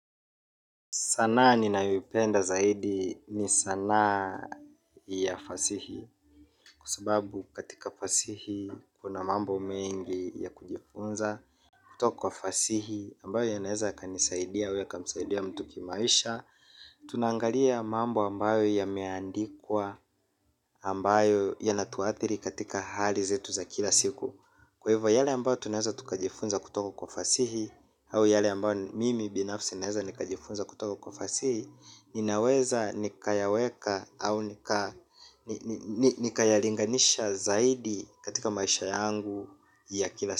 Sanaa ninayoipenda zaidi ni sanaa ya fasihi. Kwa sababu katika fasihi kunamambo mengi ya kujifunza kutoka kwa fasihi, ambayo yanaweza yakanisaidia au yakamsaidia mtu kimaisha. Tunaangalia mambo ambayo yameandikwa. Ambayo yanatuathiri katika hali zetu za kila siku. Kwa hivyo yale ambayo tunaweza tukajifunza kutoka kwa fasihi. Au yale ambayo mimi binafsi ninaweza nikajifunza kutoka kwa fasihi, ninaweza nikayaweka au nikayalinganisha zaidi katika maisha yangu ya kila siku.